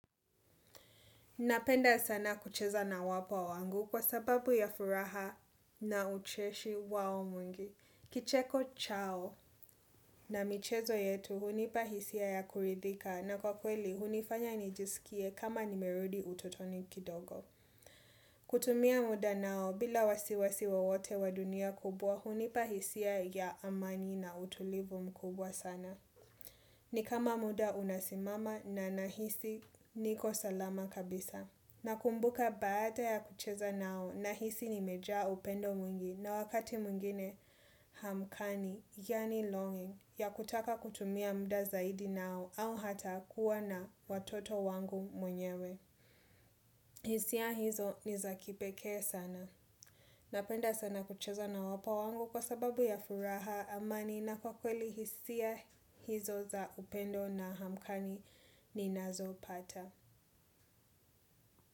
Napenda sana kucheza na wapwa wangu kwa sababu ya furaha na ucheshi wao mwingi. Kicheko chao na michezo yetu hunipahisia ya kuridhika na kwa kweli hunifanya nijisikie kama nimerudi utotoni kidogo. Kutumia muda nao bila wasiwasi wowote wa dunia kubwa hunipahisia ya amani na utulivu mkubwa sana. Ni kama muda unasimama na nahisi niko salama kabisa. Na kumbuka baada ya kucheza nao na hisi nimejaa upendo mwingi na wakati mwingine hamkani, yani longing, ya kutaka kutumia mda zaidi nao au hata kuwa na watoto wangu mwenyewe. Hisia hizo nizakipekee sana. Napenda sana kucheza na wapwa wangu kwa sababu ya furaha amani na kwa kweli hisia hizo za upendo na hamkani ni nazo pata.